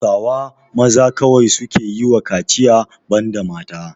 Hausawa maza kawai suke yiwa kaciya banda mata.